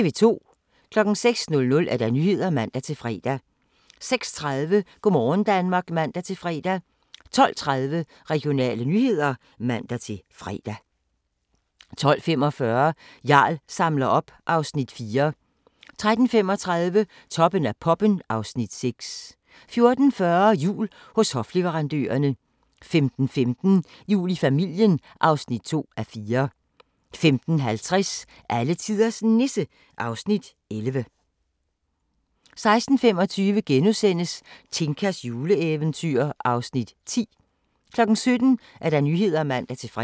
06:00: Nyhederne (man-fre) 06:30: Go' morgen Danmark (man-fre) 12:30: Regionale nyheder (man-fre) 12:45: Jarl samler op (Afs. 4) 13:35: Toppen af poppen (Afs. 6) 14:40: Jul hos hofleverandørerne 15:15: Jul i familien (2:4) 15:50: Alletiders Nisse (Afs. 11) 16:25: Tinkas juleeventyr (Afs. 10)* 17:00: Nyhederne (man-fre)